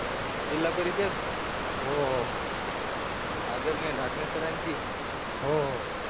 जिल्हा परिषद हो हो आदरणीय ढाकणे सरांची हो हो